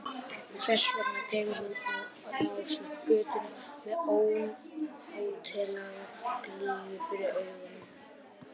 Þess vegna tekur hún á rás upp götuna með ónotalega glýju fyrir augunum.